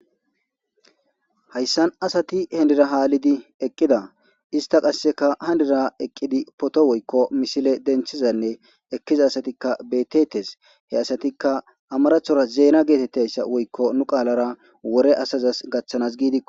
Hayssan asati henira haa ali eqqida ista qasseka hanira eqqidi poto woykko missile denthizanne ekkiza asatikka betetes he asatikka amarathora zeena geetettayssa woykko nu qaalara wore asazas gaththanas giidikko.